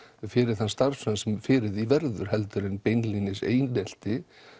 fyrir þann starfsmann sem fyrir því verður heldur en beinlínis einelti